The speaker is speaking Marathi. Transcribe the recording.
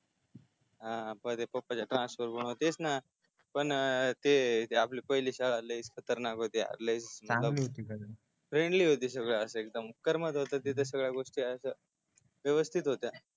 हा पाहिलं पप्पाच ट्रान्स्फर मूळ तेच न पण ते आपली पहिली शाळा लैच खतरनाक होती यार सांगते मी फ्रेंडली होती असं एकदम करमत होत सगळया गोष्टी अश्या व्यवस्थित होत्या